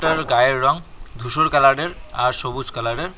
তার গায়ের রং ধূসর কালার -এর আর সবুজ কালার -এর।